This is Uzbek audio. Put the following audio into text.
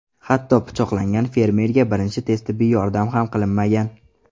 Hatto pichoqlangan fermerga birinchi tez tibbiy yordam ham qilinmagan.